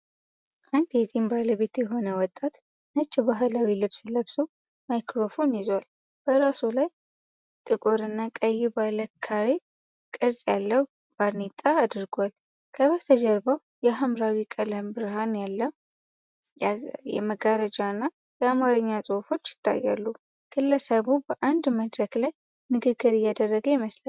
አንድ የጺም ባለቤት የሆነ ወጣት ነጭ ባህላዊ ልብስ ለብሶ ማይክሮፎን ይዟል። በራሱ ላይ ጥቁር እና ቀይ ባለ ካሬ ቅርጽ ያለው ባርኔጣ አድርጓል። ከበስተጀርባው የሃምራዊ ቀለም ብርሃን ያዘለ መጋረጃና የአማርኛ ጽሑፎች ይታያሉ። ግለሰቡ በአንድ መድረክ ላይ ንግግር እያደረገ ይመስላል።